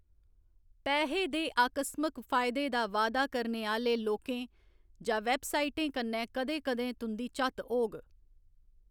पैहे दे आकस्मिक फायदे दा वा'यदा करने आह्‌‌‌ले लोकें जां वैबसाइटें कन्नै कदें कदें तुं'दी झत्त होग।